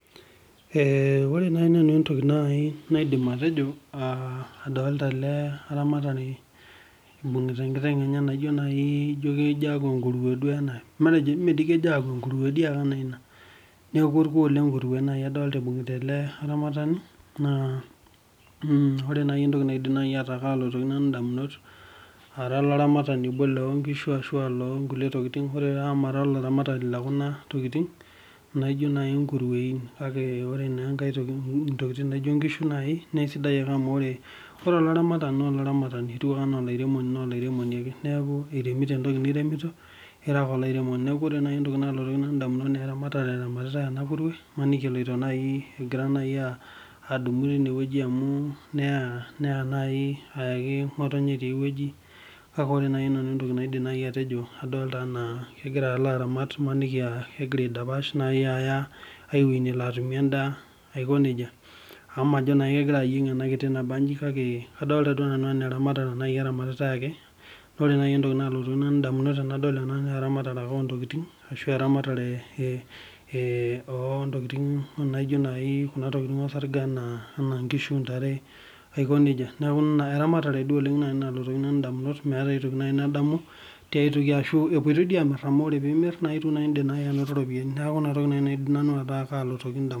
Ore nanu entoki nai naidim atejo, adolta ele aramatani, ibung'ita enkiteng' enye, naa kejo aaku enkurue duo ena. matejo. enkuruo doi ake ana ina. orkuo le nkurue ibung'ita ele aramatani, naa ore entoki naidim naaji nanu ayeu damunot, ara olaramatani loo nkishu ashu loo nkulie tokitin. ore taa amu mara olaramatani lekuna tokitin. naijo naaji nkuruein kake ore naa enkae toki, ntokitin naijo nkishu naaji. naa esidai ake amu ore olaramatani naa olaramatani. ore anaa olairemoni naa olairemoni ake. iremito entoki niremito. neekh ore entoki naaji nalotu nanu damunot naa eramatare eramatitae ena kurue. imaniki eloito naaji. egira naaji adamu tine wueji amu, neya naai ayaki ngotonye tiae wueji, kake ore entoki naidim naaji nanu atejo. adolta anaa kegira alo aramat imaniki aa, kegira aedapash naai aya ae wueji nelo atumie edaa. aiko nejia. amu majo naa kegira ayien